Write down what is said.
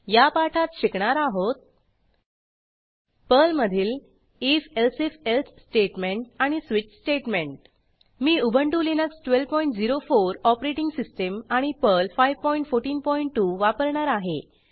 या पाठात शिकणार आहोत पर्लमधील if elsif एल्से स्टेटमेंट आणि स्विच स्टेटमेंट मी उबंटु लिनक्स 1204 ऑपरेटिंग सिस्टीम आणि पर्ल 5142 वापरणार आहे